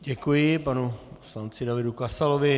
Děkuji panu poslanci Davidu Kasalovi.